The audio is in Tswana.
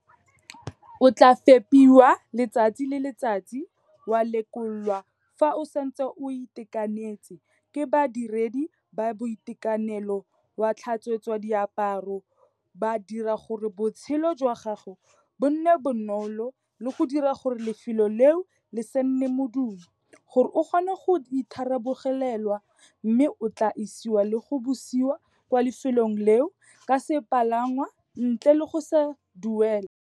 O tla fepiwa letsatsi le letsatsi, wa lekolwa fa o santse o itekanetse ke badiredi ba boitekanelo, wa tlhatswetswa diaparo, ba dira gore botshelo jwa gago bo nne bonolo le go dira gore lefelo leo le se nne modumo gore o kgone go itharabologelwa mme o tla isiwa le go busiwa kwa lefelong leo ka sepalangwa ntle le go se duelela.